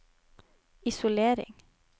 isolering